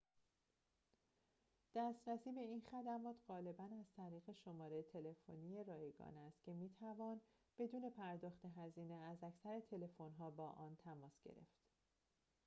دسترسی به این خدمات غالباً از طریق شماره تلفنی رایگان است که می‌توان بدون پرداخت هزینه از اکثر تلفن‌ها با آن تماس گرفت